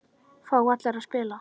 Fá allir að spila?